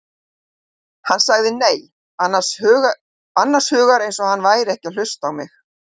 Hann sagði nei, annars hugar eins og hann væri ekki að hlusta á mig.